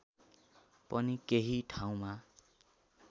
पनि केही ठाउँमा